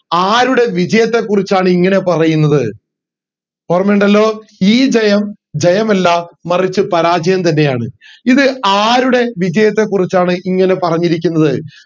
ആരുടെ വിജയത്തെ കുറിച്ചാണ് ഇങ്ങനെ പറയുന്നത് ഓർമയുണ്ടല്ലോ ഈ ജയം ജയമല്ല മറിച്ച് പരാജയം തന്നെയാണ് ഇത് ആരുടെ വിജയത്തെ കുറിച്ചാണ് ഇങ്ങനെ പറഞ്ഞിരിക്കുന്നത്